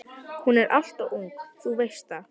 Hún er alltof ung, þú veist það.